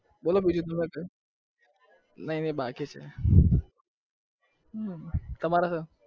બોલો બીજું નહિ નહિ બાકી છે હમમ તમારે